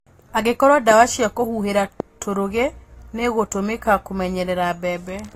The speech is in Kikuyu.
Angĩkorwo dawa cia kũhuhĩla tũrũgi nĩigũtũmika kumenyerera mbembe